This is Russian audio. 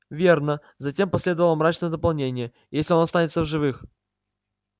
верно затем последовало мрачное дополнение если он останется в живых